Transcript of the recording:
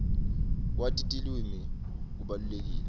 kwati tilwimi kubalulekile